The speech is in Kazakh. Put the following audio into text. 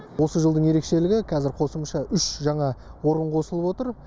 осы жылдың ерекшелігі қазір қосымша үш жаңа орын қосылып отыр